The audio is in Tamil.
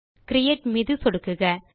கிரியேட் மீது சொடுக்குக